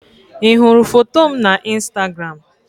Ị hụrụ foto m na Instagram?